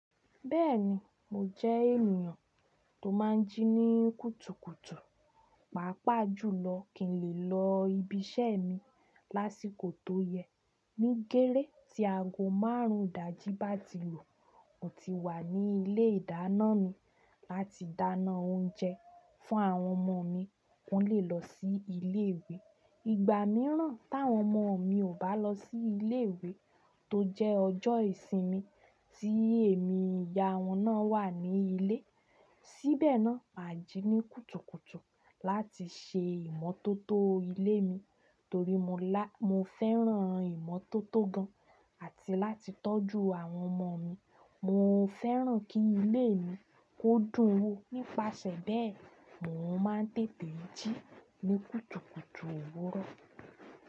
Bẹ́ẹ̀ni, mọ jẹ́ ènìyàn tó má n jí ní kùtùkùtù, pàápàá jùlọ kí n lè lọ ibi iṣẹ́ mi lásìkò tó yẹ. Ní gérè tí aago maárùn idàjí bá ti lù, mo ti wà ní ilé ìdáná mi láti dáná oúnjẹ fún àwọn ọmọ mi kí wọ́n lè lọ sí ilé ìwé. Ìgbà míràn tàwọn ọmọ mi ò bá lọ sí ilé ìwé tó jẹ́ ọjọ́ ìsinmi tí èmi ìyá wọn náà wà ní ilé, síbẹ̀ náà mà jí ní kùtùkùtù láti ṣe ìmọ́tótó ilé mi torí mo fẹ́ràn ìmọ́tótó gan àti láti tọ́jú àwọn ọmọ mi. Mo fẹ́ràn kí ilé mi kó dún wò. Nípasẹ̀ bẹ́ẹ̀, mò ń má n tètè jí ní kùtùkùtù òwúrọ̀.